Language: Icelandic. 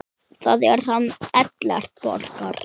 Það er hann Ellert Borgar.